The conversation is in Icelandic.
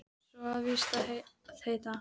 Svo á það víst að heita